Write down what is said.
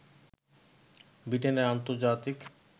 ব্রিটেনের আন্তর্জাতিক